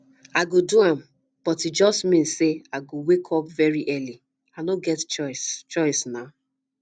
i go do am but e just mean say i go wake up very early i no get choice choice nah